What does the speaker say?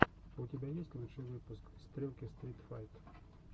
у тебя есть лучший выпуск стрелки стрит файт